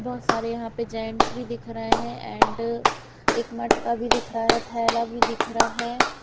बहुत सारे यहाँ पे जेंट्स भी दिख रहे हैं एंड एक मटका भी दिख रहा है थैला भी दिख रहा है ।